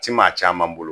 Ti maa caman bolo